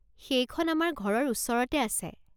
সেইখন আমাৰ ঘৰৰ ওচৰতে আছে।